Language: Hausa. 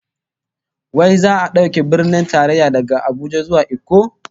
Wai za'a dauke Birnin Tarayya daga Abuja zuwa Ikko?